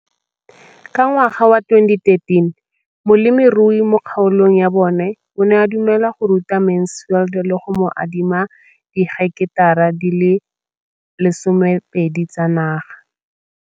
Ka ngwaga wa 2013, molemirui mo kgaolong ya bona o ne a dumela go ruta Mansfield le go mo adima di heketara di le 12 tsa naga.